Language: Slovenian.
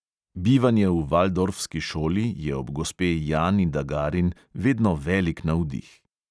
Bivanje v valdorfski šoli je ob gospe jani dagarin vedno velik navdih.